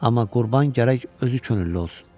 Amma qurban gərək özü könüllü olsun.